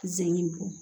Ze bɔn